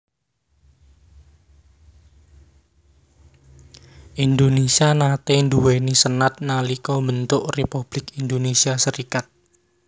Indonésia nate nduweni senat nalika mbentuk Republik Indonésia Serikat